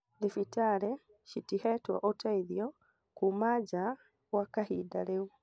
Thibitarĩ citihetwo ũteithio kuma njaa gwa kahinda rĩu